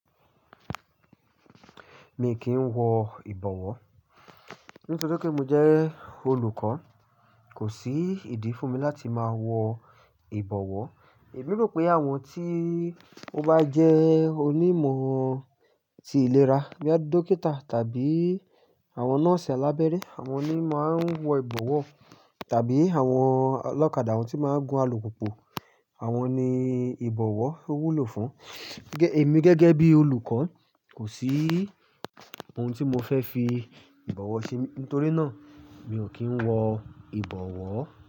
Mi kì ń wọ ìbọ̀wọ́. Nítorí pé mo jẹ́ olùkọ́ kò sí ìdí fún mi láti máa wọ ìbọ̀wọ́. Emi rò pé àwọn tí ó bá jẹ́ onímọ̀ tí ìlera boya bíi dókítà tàbí àwọn nọ́ọ̀sì alábẹ́rẹ́ àwọn ni máa ń wọ ìbọ̀wọ́ tàbí àwọn ọlọ́kadà, àwọn tí máa ń gun alùpùpù àwọn ni ìbọ̀wọ́ wúlò fún. Èmi gẹ́gẹ́ bí olùkọ́, kò sí ohun tí mo fẹ́ fi ìbọ̀wọ́ ṣe, nítorí náà mi ò kí ń wọ ìbọ̀wọ́